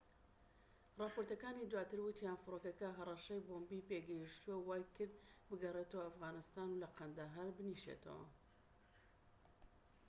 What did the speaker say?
راپۆرتەکانی دواتر وتیان فرۆکەکە هەرەشەی بۆمبی پێگەشتووە و وای کرد بگەڕێتەوە ئەفغانستان و لە قەندەهار بنیشێتەوە